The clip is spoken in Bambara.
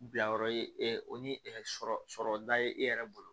Bilayɔrɔ ye o ni sɔrɔ sɔrɔta ye e yɛrɛ bolo